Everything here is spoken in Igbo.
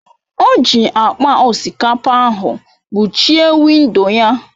O ji akpa osikapa ahụ kpuchie windo ya.